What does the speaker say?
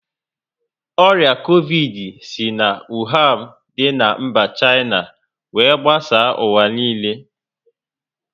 Ọrịa covidi si na Wuhan dị na mba China were gbasaa ụwa niile